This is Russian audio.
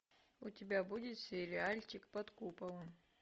у тебя будет сериальчик под куполом